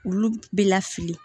Olu bɛ lafili